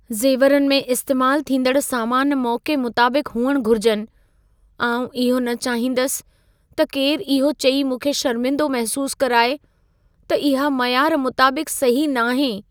ज़ेवरनि में इस्तेमाल थींदड़ सामान मौक़े मुताबिक़ु हुअण घुरिजनि। आउं इहो न चाहींदसि त केरु इहो चई मूंखे शर्मिंदो महिसूसु कराए, त इहा मयार मुताबिक़ु सही नाहे।